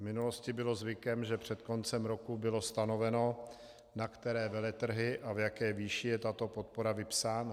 V minulosti bylo zvykem, že před koncem roku bylo stanoveno, na které veletrhy a v jaké výši je tato podpora vypsána.